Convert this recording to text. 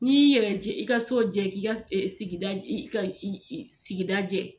N'i y'i yɛrɛ jɛ, i ka so jɛ, k'i ka sigida i i i sigida jɛ